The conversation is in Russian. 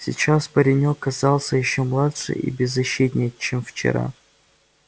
сейчас паренёк казался ещё младше и беззащитнее чем вчера